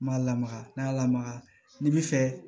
N m'a lamaga n'a lamaga n'i bi fɛ